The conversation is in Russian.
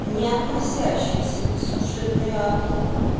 не относящуюся к сюжетной арки